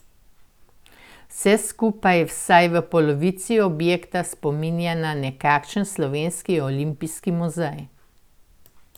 Vse skupaj vsaj v polovici objekta spominja na nekakšen slovenski olimpijski muzej.